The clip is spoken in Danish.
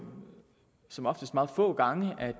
som oftest meget få gange at